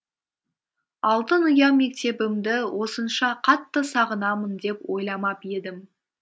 алтын ұя мектебімді осынша қатты сағынамын деп ойламап едім